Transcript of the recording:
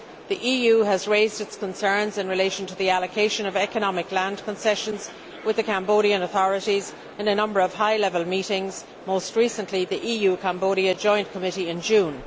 The EU has raised its concerns in relation to the allocation of economic land concessions with the Cambodian authorities in a number of high level meetings, most recently the EU Cambodia Joint Committee in June.